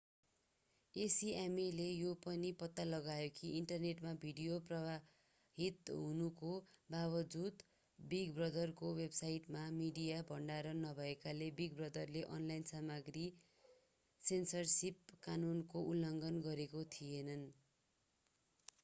acmaले यो पनि पत्ता लगायो कि इन्टरनेटमा भिडियो प्रवाहित हुनुको बाबजुद बिग ब्रदरको वेबसाइटमा मिडिया भण्डारण नभएकाले बिग ब्रदरले अनलाइन सामग्री सेन्सरसिप कानुनको उल्लङ्घन गरेका थिएनन्।